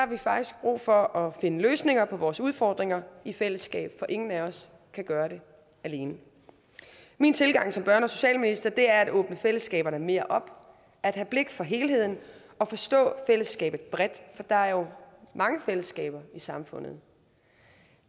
vi faktisk brug for at finde løsninger på vores udfordringer i fællesskab for ingen af os kan gøre det alene min tilgang som børne og socialminister er at åbne fællesskaberne mere op at have blik for helheden og forstå fællesskabet bredt for der er jo mange fællesskaber i samfundet